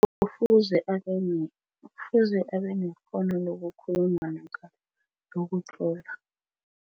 Kufuze kufuze abenekghono lokukhuluma namkha lokutlola.